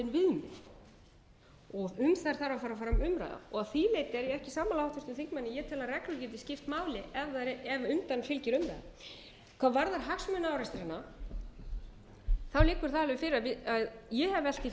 um þær þarf að fara fram umræða að því leyti er ég ekki sammála háttvirtum þingmanni ég tel að reglur geti skipt máli ef undan fylgir umræða hvað varðar hagsmunaárekstrana liggur það alveg fyrir og ég hef velt því fyrir